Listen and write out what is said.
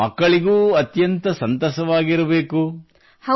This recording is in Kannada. ಈಗ ಮಕ್ಕಳಿಗೂ ಅತ್ಯಂತ ಸಂತಸವಾಗಿರಬೇಕು